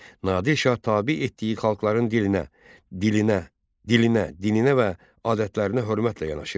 Nadir Şah tabe etdiyi xalqların dilinə və adətlərinə hörmətlə yanaşırdı.